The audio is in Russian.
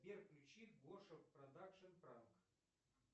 сбер включи гоша продакшн пранк